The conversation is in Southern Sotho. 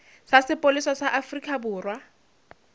sa sepolesa sa afrika borwa